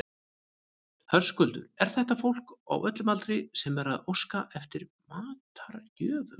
Höskuldur, er þetta fólk á öllum aldri sem er að óska eftir matargjöfum?